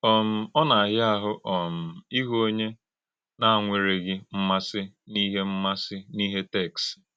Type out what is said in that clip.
um Ọ na-àhíà áhụ́ um ìhụ̀ ònyé na-anwèrèghị m̀màsì n’íhè m̀màsì n’íhè téksì.